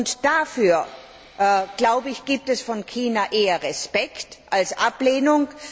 Und dafür, glaube ich, gibt es von China eher Respekt als Ablehnung.